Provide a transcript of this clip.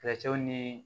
nii